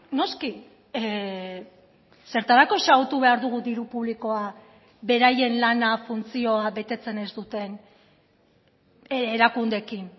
noski zertarako xahutu behar dugu diru publikoa beraien lana funtzioa betetzen ez duten erakundeekin